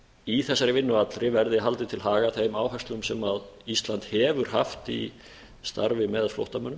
í þessari vinnu allri verði haldið til haga þeim áherslum sem ísland hefur haft í starfi með flóttamönnum